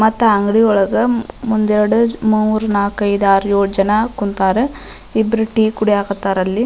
ಮತ್ತ ಅಂಗಡಿ ಒಳಗ ಒಂದ್ ಎರಡ ಮೂರು ನಾಕ್ ಐದ್ ಆರ್ ಏಳ್ ಜನ ಕುಂತಾರ ಇಬ್ಬ್ರು ಟಿ ಕುಡಿಯಕತ್ತರ್ ಅಲ್ಲಿ --